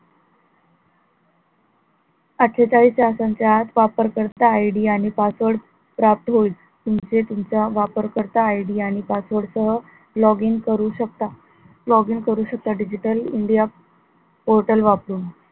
अट्ठेचाळीस तासांच्या आत वापरकर्ता ID आणि password प्राप्त होईल तुमचे तुमचा वापरकर्ता ID आणि password सह login करू शकता, login करू शकता digital india portal वापरून